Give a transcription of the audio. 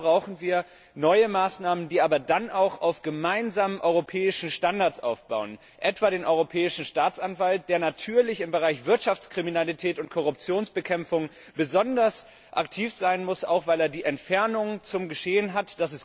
Und dann brauchen wir neue Maßnahmen, die aber auch auf gemeinsamen europäischen Standards aufbauen, etwa den Europäischen Staatsanwalt, der natürlich im Bereich Wirtschaftskriminalität und Korruptionsbekämpfung besonders aktiv sein muss, auch weil er die Entfernung zum Geschehen hat.